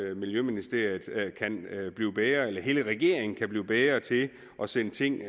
at miljøministeriet og hele regeringen kan blive bedre til at sende ting